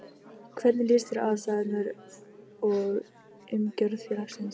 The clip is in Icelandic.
Hvernig líst þér á aðstæður og umgjörð félagsins?